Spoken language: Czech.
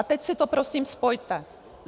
A teď si to prosím spojte.